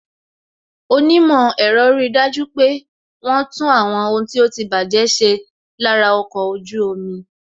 Onímò ẹ̀rọ ri dájú pé wọn tún àwọn ohun tí ó ti baje ṣe lára ọkọ̀ ojú omi